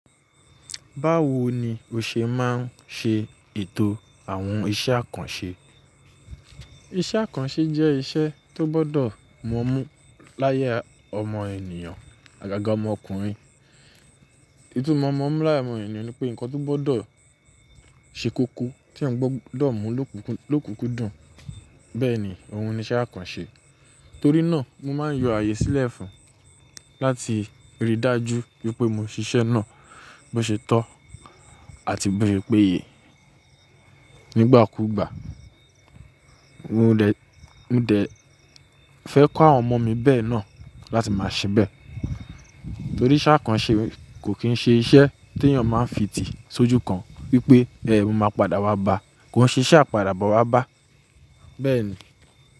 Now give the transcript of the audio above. Báwo ni o ṣe máa ń ṣe ètò àwọn iṣẹ́ àkànṣe? Iṣẹ́ àkànṣe jẹ́ iṣẹ́ tó gbọdọ̀ m'omu láya ọmọ ènìyàn, àgàgà ọmọ ọkùnrin. Itùmo m'omu láya omo ènìyàn ni pé ǹkan tó gbọdọ̀ ṣe kúkú tí ẹ̀ gbọdọ̀ mú ló kúkú dùn. Bẹ́ẹ̀ ni ohun ni iṣẹ́ àkànṣe. Torí náà mo máa ń yọ ààyè sílẹ̀ fún láti rí dájú wípé mo ṣiṣẹ́ náà bó ṣe tọ́ àti bó ṣe péye. Nígbà kú ìgbà mo dẹ̀ fẹ́ kó àwọn ọmọ mi bẹ́ẹ̀ náà láti máa ṣe bẹ́ẹ̀. Torí iṣẹ́ àkànṣe kò kín ń ṣe iṣẹ́ tí èèyàn máa ń fi tì sójú kan wípé bẹ́ẹ̀ mo máa padà wá bá, kò ń ṣe iṣẹ́ àpadàbọ̀ wá bá, bẹ́ẹ̀ ni.